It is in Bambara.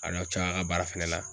A na ca a ka baara fɛnɛ la.